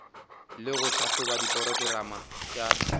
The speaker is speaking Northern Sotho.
le go tlhahloba diporokerama tša